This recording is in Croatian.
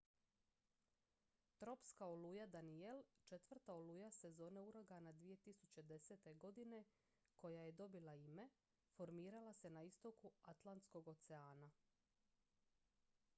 tropska oluja danielle četvrta oluja sezone uragana 2010. godine koja je dobila ime formirala se na istoku atlantskog oceana